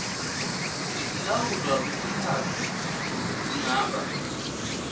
sekulawulwa kwesikhatsi singaba